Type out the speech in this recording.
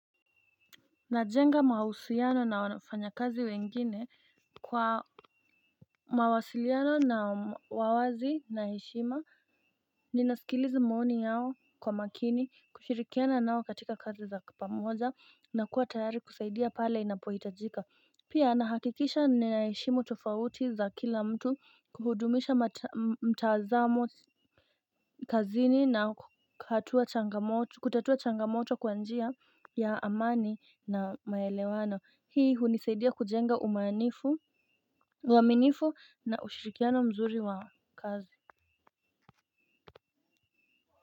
Najenga mahusiano na wafanyakazi wengine kwa mawasiliano na wa wazi na heshima. Ninasikiliza maoni yao kwa makini kushirikiana nao katika kazi za pamoja na kuwa tayari kusaidia pale inapohitajika. Pia, nahakikisha ninayaheshimu tofauti za kila mtu kuhudumisha mtazamo kazini na kutatua changamoto kwa njia ya amani na maelewano. Hii hunisaidia kujenga uaminifu na ushirikiano mzuri wa kazi.